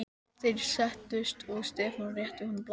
Þeir settust og Stefán rétti honum blaðið.